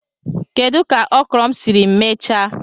Kedu ka okro m siri mechaa?